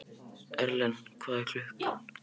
Erlen, hvað er klukkan?